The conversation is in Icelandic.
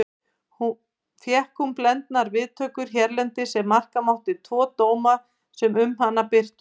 Fékk hún blendnar viðtökur hérlendis ef marka mátti tvo dóma sem um hana birtust.